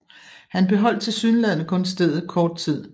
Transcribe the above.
Han beholdt tilsyneladende kun stedet kort tid